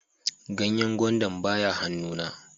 Ganyen gwandan ba ya han'nu na.